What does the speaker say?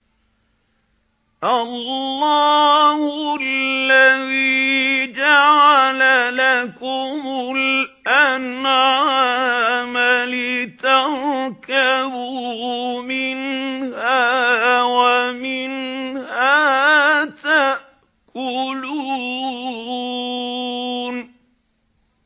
اللَّهُ الَّذِي جَعَلَ لَكُمُ الْأَنْعَامَ لِتَرْكَبُوا مِنْهَا وَمِنْهَا تَأْكُلُونَ